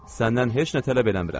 Səndən heç nə tələb eləmirəm.